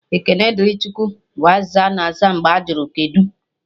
"Ekene dịrị Chukwu" bụ azịza ana aza mgbe ajụrụ "kedụ"